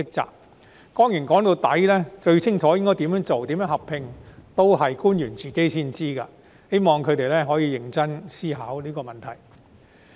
說到底，只有官員才最清楚應該怎樣做及如何合併，我希望他們可以認真思考這個問題。